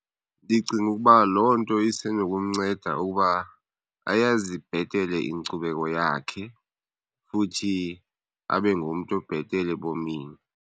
Ndicinga ukuba loo nto isenokumnceda ukuba ayazi bhetele inkcubeko yakhe, futhi abe ngumntu obhetele ebomini.